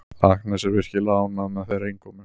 Agnes er virkilega ánægð með þeirra innkomu.